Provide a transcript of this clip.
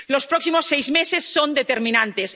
Los próximos seis meses son determinantes.